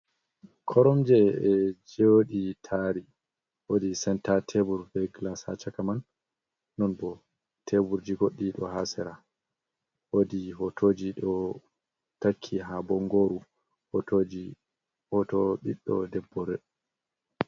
Korom je e jodi tari wodi senta tebur ve glas ha chaka man non bo teburji goddi do hasera, wodi hotoji do takki ha bongoru hoto biddo debbore.